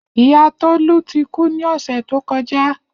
Iya Tolu ti ku ni ọsẹ to kọja.